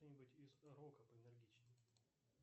что нибудь из рока поэнергичней